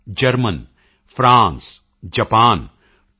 Germany France Japan ਅਤੇ you